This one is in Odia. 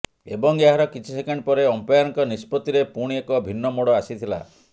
ଏବଂ ଏହାର କିଛି ସେକେଣ୍ଡ ପରେ ଅମ୍ପାୟରଙ୍କ ନିଷ୍ପତ୍ତିରେ ପୁଣି ଏକ ଭିନ୍ନ ମୋଡ଼ ଆସିଥିଲା